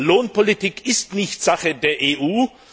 Lohnpolitik ist nicht Sache der EU!